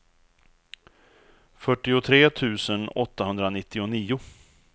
fyrtiotre tusen åttahundranittionio